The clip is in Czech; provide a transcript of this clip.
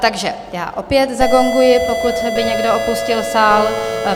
Takže já opět zagonguji, pokud by někdo opustil sál.